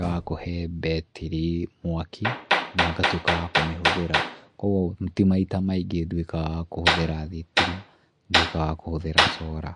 ya kũhe mbetiri mwaki, na ngatuĩka wa kũmĩhũthĩra, kuũguo ti maita maingĩ nduĩkaga wa kũthĩra thitima, nduĩkaga wa kũhũthĩra cora.